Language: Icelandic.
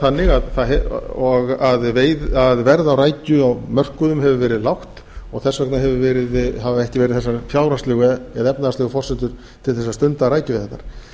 þannig að verð á rækju á mörkuðum hefur verið lágt og þess vegna hafa ekki verið þessar fjárhagslegu eða efnahagslegu forsendur til þess að stunda rækjuveiðarnar